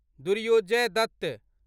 Durjoy Dutt